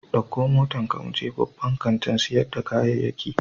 Ɗauko motarka mu je babban kantin sayar da kayayyaki.